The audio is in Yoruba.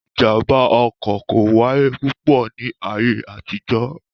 Ìjàmbá ọkọ̀ kò wáyé púpọ̀ ni ayé àtijọ́